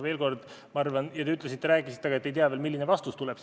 Te rääkisite, et ei tea veel, milline vastus tuleb.